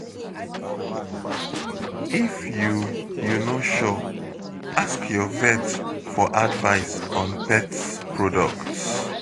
If you you no sure, ask your vet for advice on pet products.